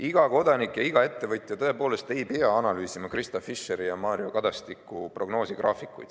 Iga kodanik ja iga ettevõtja tõepoolest ei pea analüüsima Krista Fischeri ja Mario Kadastiku prognoosigraafikuid.